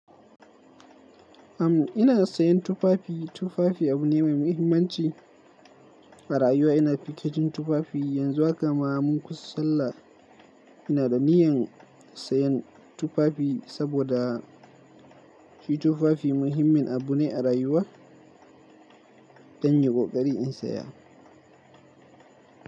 Am, ina sayan tufafi. Tufafi abu ne mai muhimmanci a rayuwa. Ina fikicin tufafi yanzu haka. Maman ku sallah ina da niyan sayan tufafi saboda shi tufafi muhimmin abu ne a rayuwa. Dan yau ƙoƙari in saya.